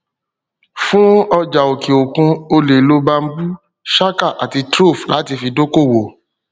fún ọjà òkè òkun o lè lo bamboo chaka ati trove láti fi dókòwó